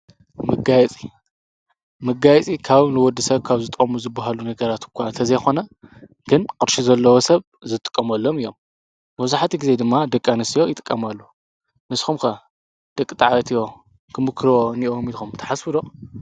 መጋየጺ ፦መጋየጺ ካብ ንወዲሰብ ካብ ዝጠቅሙ ዝብሃሉ ነገራት እኳ እንተዘይኮነ ግን ቅርሺ ዘለዎ ሰብ ዝጥቀመሎም እዮም። መብዛሕቲኡ ግዜ ድማ ደቂ ኣንስትዮ ይጥቀማሉ። ንስኩም ከ ደቂ ተባዕትዮ ክምኩርዎ እንሄዎም ኢልኩም ትሓስቡ ዶ?